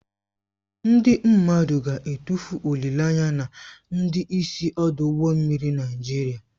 Ndị mmadụ ga-atụfu olileanya na ndị isi ọdụ ụgbọ mmiri Nigeria